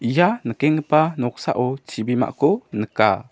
ia nikkenggipa noksao chibimako nika.